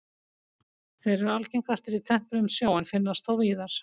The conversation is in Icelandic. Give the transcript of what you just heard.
Þeir eru algengastir í tempruðum sjó en finnast þó víðar.